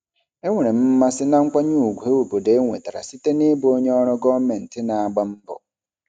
Enwere m mmasị na nkwanye ùgwù obodo enwetara site n'ịbụ onye ọrụ gọọmentị na-agba mbọ.